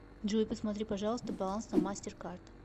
джой посмотри пожалуйста баланс на мастер кард